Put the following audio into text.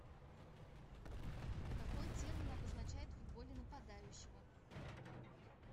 какой термин обозначает в футболе нападающего